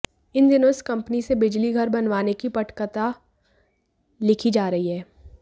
इन दिनों इस कंपनी से बिजली घर बनवाने की पटकथा लिखी जा रही है